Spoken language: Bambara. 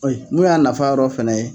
Mun y'a nafa yɔrɔ fɛnɛ ye